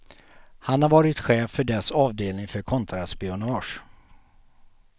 Han har varit chef för dess avdelning för kontraspionage.